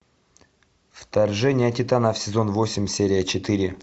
вторжение титанов сезон восемь серия четыре